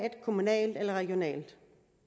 kommunalt eller regionalt